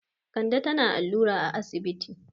Kande tana allura a asibiti.